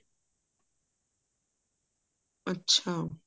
ਅੱਛਾ